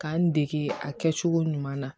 K'an dege a kɛcogo ɲuman na